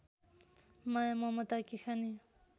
माया ममताकी खानी